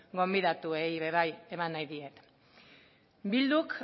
gonbidatuei ere bai eman nahi diet bilduk